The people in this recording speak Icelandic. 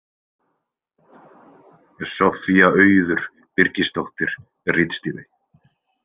Soffía Auður Birgisdóttir ritstýrði.